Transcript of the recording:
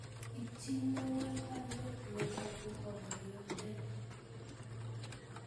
Ipchinewon baruet neyobu mokoryondenyun